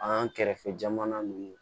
An kɛrɛfɛ jamana ninnu